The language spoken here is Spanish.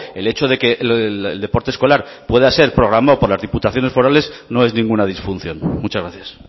el hecho de que el deporte escolar pueda ser programado por las diputaciones forales no es ninguna disfunción muchas gracias